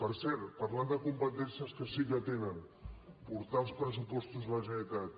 per cert parlant de competències que sí que tenen portar els pressupostos de la generalitat